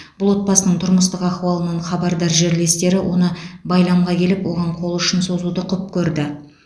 бұл отбасының тұрмыстық ахуалынан хабардар жерлестері оны байламға келіп оған қол ұшын созуды құп көрді